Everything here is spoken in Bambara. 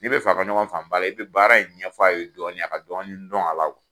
N'i bɛ fɛ a ka ɲɔgɔn faamu ba i bɛ baara in ɲɛfɔ a ye dɔɔni a ka dɔɔni dɔn a la o.